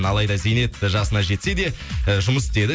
алайда зейнет жасына жетседе э жұмыс істеді